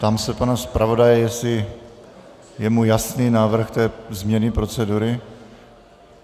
Ptám se pana zpravodaje, jestli je mu jasný návrh té změny procedury?